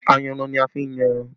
Ayanran ni a fi n yan ẹran